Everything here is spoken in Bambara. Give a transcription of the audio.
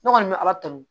Ne kɔni bɛ ala tanu